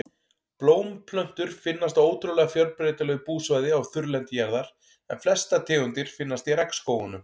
Blómplöntur finnast á ótrúlega fjölbreytilegu búsvæði á þurrlendi jarðar en flestar tegundir finnast í regnskógunum.